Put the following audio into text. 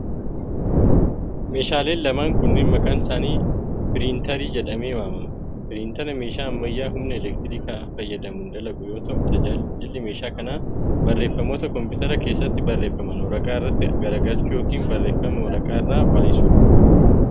Meeshaaleen lamaan kunneen maqaan isaanii piriintarii jedhamee waamama. Piriintara meeshaa ammayyaa humna elektirikaa fayyadamuun dalagu yoo ta'u, tajaajilli meeshaa kana barreeffamoota koompitara keessatti barreeffaman waraqaa irrattii garagalchuu yokin barreeffama waraqaa irraa baayisuu dha.